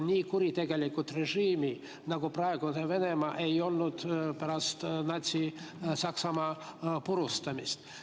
Nii kuritegelikku režiimi, nagu praegu on Venemaa, ei ole olnud pärast Natsi-Saksamaa purustamist.